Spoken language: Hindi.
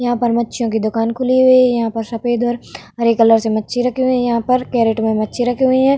यहाँ पर मच्छियों की दुकान खुली हुई है। यहाँ पर सफ़ेद और हरे कलर से मच्छी रखी हुई हैं। यहाँ पर कैरट में मच्छी मछली रखी हुई हैं।